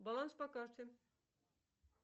баланс по карте